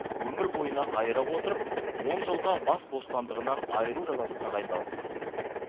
өмір бойына айыра отырып он жылға бас бостандығынан айыру жазасы тағайындалсын